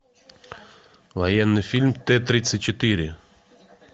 военный фильм т тридцать четыре